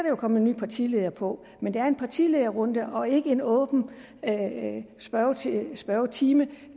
jo komme en ny partileder på men det er en partilederrunde og ikke en åben spørgetime spørgetime